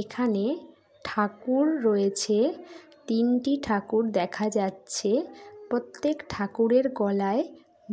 এখানে ঠাকুর রয়েছে তিনটি ঠাকুর দেখা যাচ্ছে প্রত্যেক ঠাকুরের গলায়